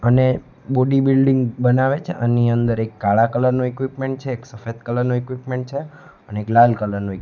અને body building બનાવે છે આની અંદર એક કાળા કલર નું ઇક્વિપમેન્ટ છે એક સફેદ કલર નુ ઇક્વિપમેન્ટ છે અને એક લાલ કલર નુ--